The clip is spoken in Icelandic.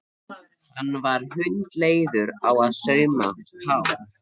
Hann var hundleiður á að sauma Pál.